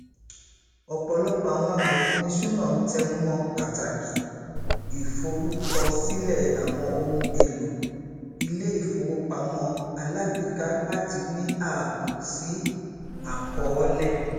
ọpọlọpọ àwọn amòfinìṣúná ń tẹnumọ pàtàkì ìforúkọsílẹ àwọn ohun èlò iléifowopamọ alágbèéká láti ní ààbò sí àkọọlẹ